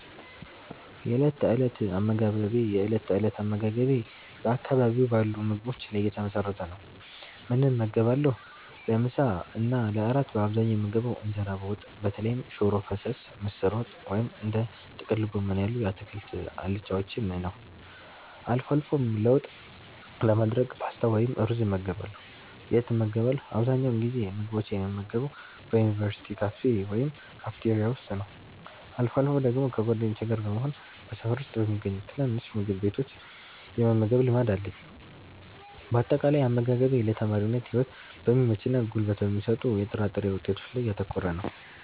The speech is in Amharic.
የእለት ተእለት አመጋገቤ የእለት ተእለት አመጋገቤ በአካባቢው ባሉ ምግቦች ላይ የተመሰረተ ነው፦ ምን እመገባለሁ? ለምሳ እና ለእራት በአብዛኛው የምመገበው እንጀራ በወጥ (በተለይም ሽሮ ፈሰስ፣ ምስር ወጥ ወይም እንደ ጥቅል ጎመን ያሉ የአትክልት አልጫዎችን) ነው። አልፎ አልፎም ለውጥ ለማድረግ ፓስታ ወይም ሩዝ እመገባለሁ። የት እመገባለሁ? አብዛኛውን ጊዜ ምግቦችን የምመገበው በዩኒቨርሲቲ ካፌ ወይም ካፍቴሪያ ውስጥ ነው። አልፎ አልፎ ደግሞ ከጓደኞቼ ጋር በመሆን በሰፈር ውስጥ በሚገኙ ትናንሽ ምግብ ቤቶች የመመገብ ልማድ አለኝ። ባጠቃላይ፦ አመጋገቤ ለተማሪነት ህይወት በሚመችና ጉልበት በሚሰጡ የጥራጥሬ ውጤቶች ላይ ያተኮረ ነው።